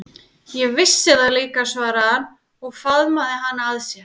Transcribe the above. Ég vissi það líka, svaraði hann og faðmaði hana að sér.